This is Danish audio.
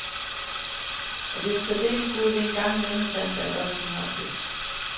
Og det er en særdeles god ide en gang imellem at tage en backup af sin harddisk.